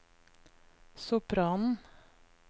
sopranen